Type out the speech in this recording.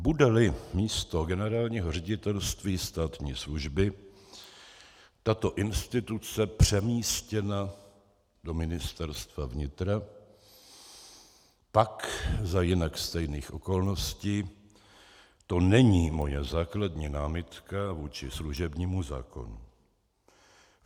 Bude-li místo Generálního ředitelství státní služby tato instituce přemístěna do Ministerstva vnitra, pak za jinak stejných okolností to není moje základní námitka vůči služebnímu zákonu.